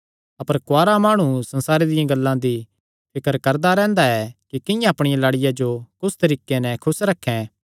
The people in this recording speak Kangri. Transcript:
अपर कुआरा माणु संसारे दियां गल्लां दी फिकर करदा रैंह्दा ऐ कि किंआं अपणिया लाड़िया जो कुस तरीके नैं खुस रखैं